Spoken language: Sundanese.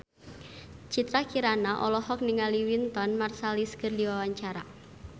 Citra Kirana olohok ningali Wynton Marsalis keur diwawancara